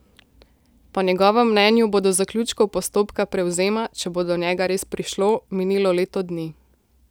Po njegovem mnenju bo do zaključkov postopka prevzema, če bo do njega res prišlo, minilo leto dni.